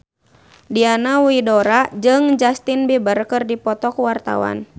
Diana Widoera jeung Justin Beiber keur dipoto ku wartawan